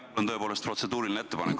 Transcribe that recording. Mul on tõepoolest protseduuriline ettepanek.